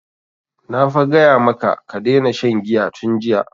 Na fa gaya maka ka daina shan giya tun jiya!